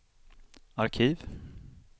arkiv